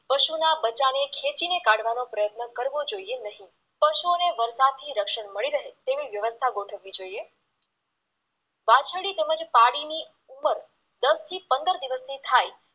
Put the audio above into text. પશુના બચ્ચાને ખેંચીને કાઢવાનો પ્રયત્ન કરવો જોઈએ નહિ પશુઓને વર્ધાથી રક્ષણ મળી રહે તેવી વ્યવસ્થા ગોઠવવી જોઈએ વાછરડી તેમજ પાડીની ઉંમર દસથી પંદર દિવસની થાય